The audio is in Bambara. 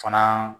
Fana